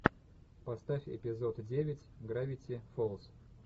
поставь эпизод девять гравити фолз